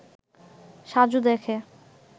সাজু দেখে